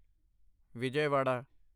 Vijayawada